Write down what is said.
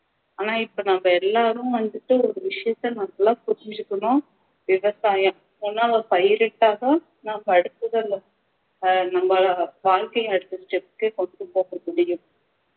ஆனா இப்போ நம்ம எல்லாரும் வந்துட்டு ஒரு விஷயத்தை நல்லா புரிஞ்சிக்கணும் விவசாயம் பயிரிட்டாதான் நம்ம அடுத்தது உள்ள ஆஹ் நம்ம வாழ்க்கையை அடுத்த step க்கு கொண்டுபோக முடியும்